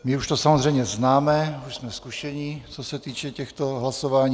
My už to samozřejmě známe, už jsme zkušení, co se týče těchto hlasování.